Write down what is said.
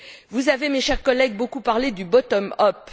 Vous avez, chers collègues, beaucoup parlé du bottom up